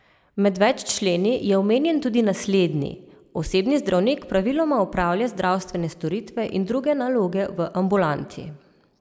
Med več členi je omenjen tudi naslednji: "Osebni zdravnik praviloma opravlja zdravstvene storitve in druge naloge v ambulanti.